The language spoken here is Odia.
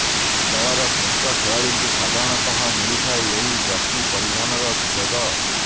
ଦଳର ଶ୍ରେଷ୍ଠ ଖେଳାଳିଙ୍କୁ ସାଧାରଣତଃ ମିଳିଥାଏ ଏହି ଜର୍ସି ପରିଧାନର ସୁଯୋଗ